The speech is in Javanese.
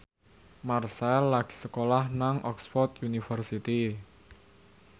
Marchell lagi sekolah nang Oxford university